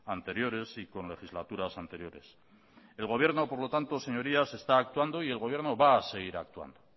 anteriores y con legislaturas anteriores el gobierno por lo tanto señorías está actuando y el gobierno va a seguir actuando